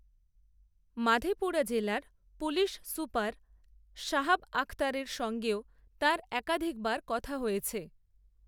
মাধেপুরা জেলার police super, Sahab, আখতারের সঙ্গেও, তাঁর একাধিকবার, কথা হয়েছে